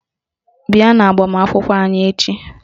Bịa n'agbamakwụkwọ anyị echi!